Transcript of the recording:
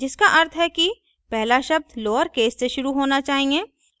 जिसका अर्थ है कि पहला शब्द lowercase से शुरू होना चाहिए